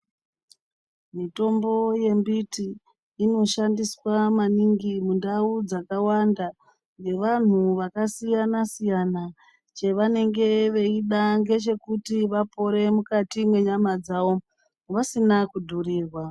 Mitombo yembiti inoshandiswa maningi mundau dzakawanda ngevantu vakasiyana siyana chevanenge veida ngechekuti vapore mukati menyama dzavo vasina kudhurirwa .